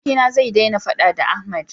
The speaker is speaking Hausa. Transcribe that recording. abokina zai dena faɗa da Ahmad